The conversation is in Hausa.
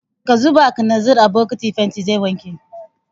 Ka zuba kalanzir a bokitin fentin zai wanke!